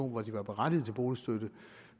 hvor de var berettiget til boligstøtte